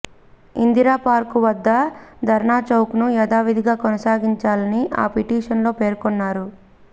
Indira park వద్ద ధర్నాచౌక్ను యథావిధిగా కొనసాగించాలని ఆ పిటిషన్లో పేర్కొన్నారు